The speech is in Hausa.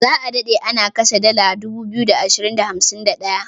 Za a dade ana kashe dala 2251.